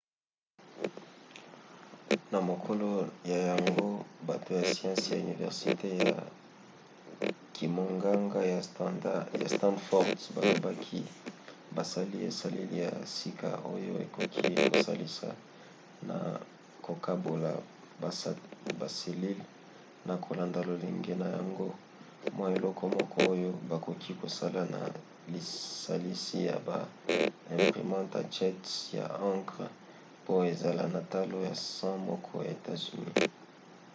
na mokolo ya yambo bato ya siansi ya universite ya kimonganga ya stanford balobaki basali esaleli ya sika oyo ekoki kosalisa na kokabola baselile na kolanda lolenge na yango: mwa eloko moko oyo bakoki kosala na lisalisi ya ba imprimantes à jet ya encre po ezala na talo ya cent moko ya etats-unis